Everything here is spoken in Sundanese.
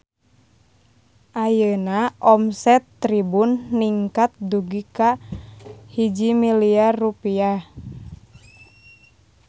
Ayeuna omset Tribun ningkat dugi ka 1 miliar rupiah